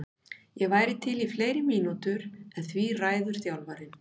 Ég væri til í fleiri mínútur en því ræður þjálfarinn.